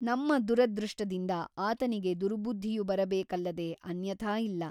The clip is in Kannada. ನಮ್ಮ ದುರದೃಷ್ಟದಿಂದ ಆತನಿಗೆ ದುರ್ಬುದ್ಧಿಯು ಬರಬೇಕಲ್ಲದೆ ಅನ್ಯಥಾ ಇಲ್ಲ.